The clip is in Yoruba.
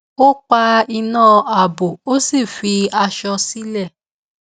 ó pa iná ààbò ó sì fi aṣọ sílè